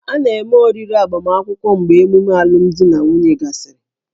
A na-eme oriri agbamakwụkwọ mgbe ememe alụmdi na nwunye gasịrị